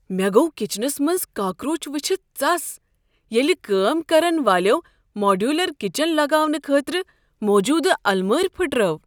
مےٚ گوٚو کچنس منٛز منٛز کاکروچ ؤچھتھ ژس ییٚلہ کٲم كرن والیو ماڈیولر کچن لگاونہٕ خٲطرٕ موجودٕ المارِ پھٕٹرٲو۔